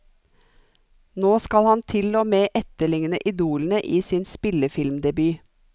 Nå skal han til og med etterligne idolene i sin spillefilmdebut.